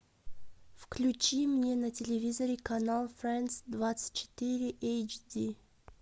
включи мне на телевизоре канал френдс двадцать четыре эйч ди